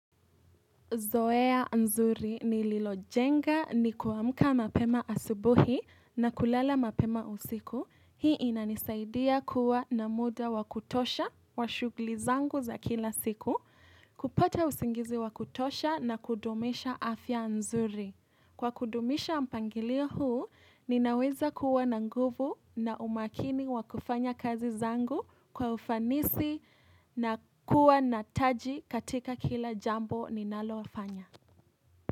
Zoea nzuri ni lilojenga ni kuamka mapema asubuhi na kulala mapema usiku. Hii inanisaidia kuwa na muda wa kutosha wa shugli zangu za kila siku, kupata usingizi wakutosha na kudumisha afya nzuri. Kwa kudumisha mpangilio huu, ninaweza kuwa na nguvu na umakini wa kufanya kazi zangu kwa ufanisi na kuwa na taji katika kila jambo ninaloafanya.